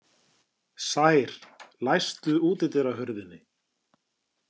Sær, læstu útidyrahurðinni.